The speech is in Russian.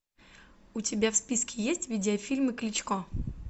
у тебя в списке есть видео фильмы кличко